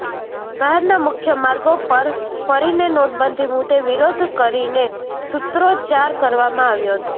શહેરના મુખ્યમાર્ગો પર ફરીને નોટબંધી મુદે વિરોધ કરીને સુત્રોચ્ચાર કરવામાં આવ્યો હતો